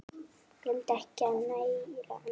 Gleymdu ekki að næra andann!